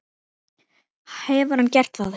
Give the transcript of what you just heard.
Hefur hann gert það?